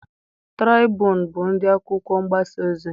Traịbuun bụ ụdị akwụkwọ mgbasa ozi.